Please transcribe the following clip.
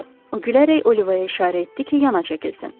O gülərək Olivaya işarə etdi ki, yana çəkilsin.